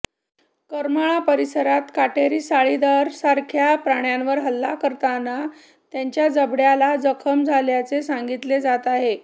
करमाळा परिसरात काटेरी साळींदरसारख्या प्राण्यावर हल्ला करताना त्याच्या जबड्याला जखम झाल्याचे सांगितले जात आहे